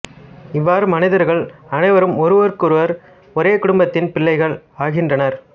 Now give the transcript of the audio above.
இவ்வாறு மனிதர்கள் அனைவரும் ஒருவர் ஒருவருக்கு ஒரே குடும்பத்தின் பிள்ளைகள் ஆகின்றனர்